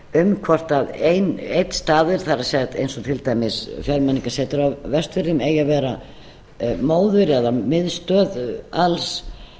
um hvort einn staður eins og til dæmis fjölmenningarsetrið á vestfjörðum eigi að vera móður eða miðstöð alls